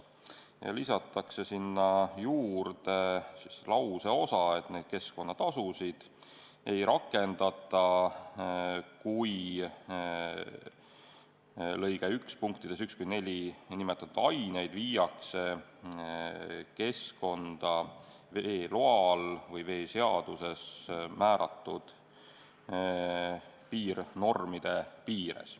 Sinna lisatakse lauseosa, et neid keskkonnatasusid ei rakendata, kui lõike 1 punktides 1–4 nimetatud aineid viiakse keskkonda veeseaduses või selle alusel määratud piirnormide piires.